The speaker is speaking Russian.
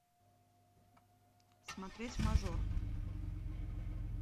смотреть мажор